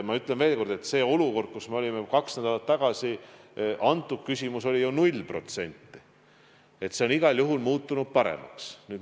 Ma ütlen veel kord, et kaks nädalat tagasi olime olukorras, kus küsimuse all oli 0%, nüüd on see igal juhul muutunud paremaks.